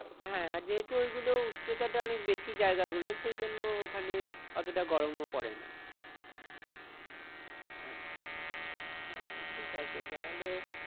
হ্যাঁ আর যেহেতু ওই গুলো উচ্চতা অনেক বেশি জায়গা গুলোর সেই জন্য ওখানে অতটা গরমও পরে না। আচ্ছা আহ ঠিক আছে তাহলে।